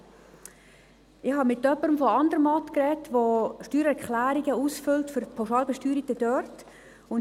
Ich habe mit jemandem aus Andermatt geredet, der dort Steuererklärungen für Pauschalbesteuerte ausfüllt.